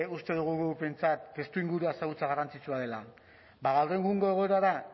uste dugu behintzat testuinguruan ezagutza garrantzitsua dela bada gaur egungo egoerara